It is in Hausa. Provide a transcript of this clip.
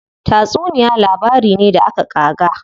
Tatsuniya labari ne da aka ƙaga.